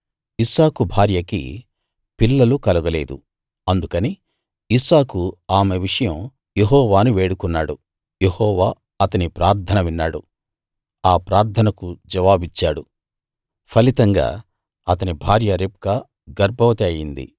ఇస్సాకు భార్యకి పిల్లలు కలుగలేదు అందుకని ఇస్సాకు ఆమె విషయం యెహోవాను వేడుకున్నాడు యెహోవా అతని ప్రార్థన విన్నాడు ఆ ప్రార్థనకు జవాబిచ్చాడు ఫలితంగా అతని భార్య రిబ్కా గర్భవతి అయింది